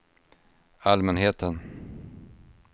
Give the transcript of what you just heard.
allmänheten